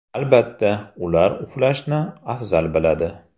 Albatta, ular uxlashni afzal biladi.